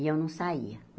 E eu não saía.